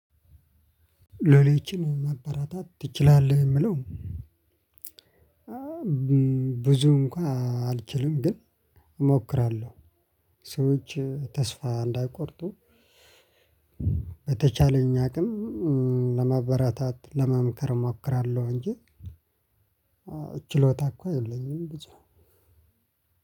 ሎሌችን ማበራታት ትችላለህ የምለው። ብዙ እንኳን አልችልም ግን እሞክራለሁ። ሰዎች ተስፋ እንዳይቆርጡ። በተቻለኝ አቅም ለማበራታት ለመምከር እሞክራለሁ። እንጂ ችሎታ እኮ የለኝም ብዙ